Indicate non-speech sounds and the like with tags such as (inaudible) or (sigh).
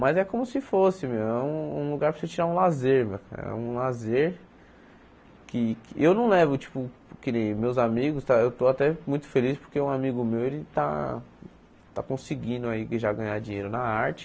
Mas é como se fosse, meu, é um um lugar para você tirar um lazer, (unintelligible) é um lazer que que eu não levo, tipo, que nem meus amigos tá, eu estou até muito feliz porque um amigo meu ele está está conseguindo aí já ganhar dinheiro na arte.